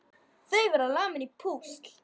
Þau verða lamin í púsl!